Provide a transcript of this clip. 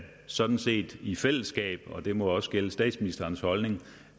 sådan set i fællesskab og det må også gælde statsministerens holdning